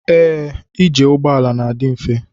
Ee ije ụgbọala n'adi mfe.